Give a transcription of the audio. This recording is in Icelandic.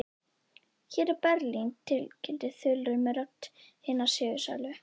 Hér er Berlín tilkynnti þulurinn með rödd hinna sigursælu.